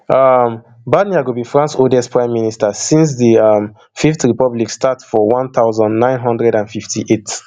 um barnier go be france oldest prime minister since di um fifth republic start for one thousand, nine hundred and fifty-eight